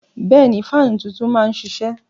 Bẹ́ẹ̀ni, faanú tuntun naá n ṣiṣẹ.